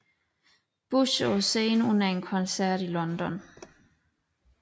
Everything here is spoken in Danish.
Bush på scenen under en koncert i London